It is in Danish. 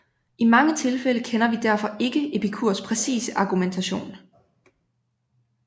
I mange tilfælde kender vi derfor ikke Epikurs præcise argumentation